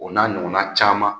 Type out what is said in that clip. O na ɲɔgɔnna caman .